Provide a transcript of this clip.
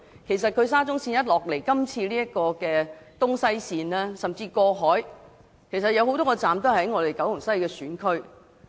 事實上，沙中線的東西走廊甚至過海線有多個車站均位於九龍西選區。